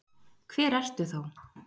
Hver ertu þá?